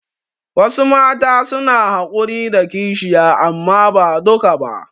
Wasu Mata suna hakuri da kishiya amma ba duka ba